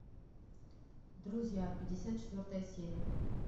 друзья пятьдесят четвертая серия